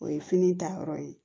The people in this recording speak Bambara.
O ye fini ta yɔrɔ ye